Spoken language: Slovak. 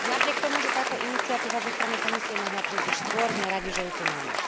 Napriek tomu, že táto iniciatíva zo strany Komisie mohla prísť už skôr, sme radi, že ju tu máme.